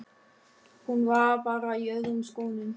Hún var bara í öðrum skónum.